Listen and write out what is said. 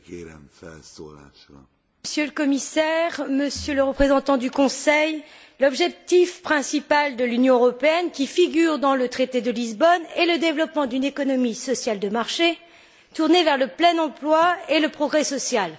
Monsieur le Président, Monsieur le Commissaire, Monsieur le représentant du Conseil, l'objectif principal de l'Union européenne, qui figure dans le traité de Lisbonne, est le développement d'une économie sociale de marché tournée vers le plein emploi et le progrès social.